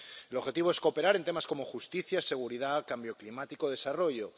El objetivo es cooperar en temas como justicia, seguridad, cambio climático, desarrollo